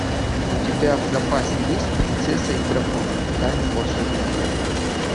у тебя в запасе есть принцесса и дракон тайна волшебного зеркала